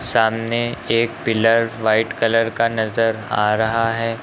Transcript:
सामने एक pillar white colour का नजर आ रहा है।